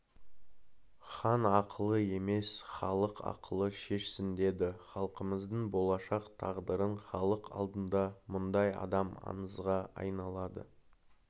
хан ақылы емес халық ақылы шешсін деді халқымыздың болашақ тағдырын халық алдында мұндай адам аңызға айналады